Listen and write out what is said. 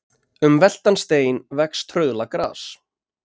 Um veltan stein vex trauðla gras.